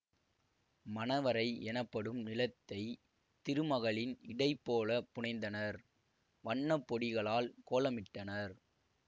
மணவறை எனப்படும் நிலத்தை திருமகளின் இடை போல புனைந்தனர் வண்ண பொடிகளால் கோலமிட்டனர்